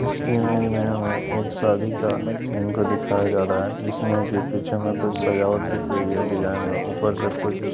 इस इमेज में हमे एक शादी का सीन को दिखाया जा रहा है जिसमे की पीछे में कुछ सजावट भी की गई है डिजाइन में ऊपर से कुछ --